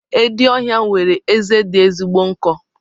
Edi ọhịa nwere eze dị ezigbo nkọ.